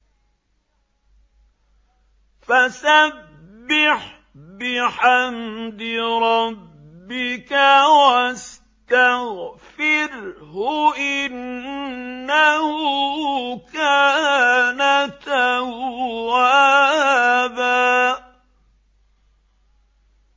فَسَبِّحْ بِحَمْدِ رَبِّكَ وَاسْتَغْفِرْهُ ۚ إِنَّهُ كَانَ تَوَّابًا